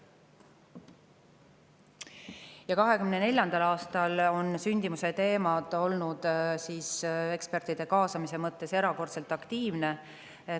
Ja 2024. aastal on sündimuse teemadel eksperte erakordselt aktiivselt kaasatud.